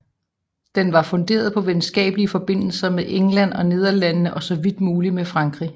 Den var funderet på venskabelige forbindelser med England og Nederlandene og så vidt muligt med Frankrig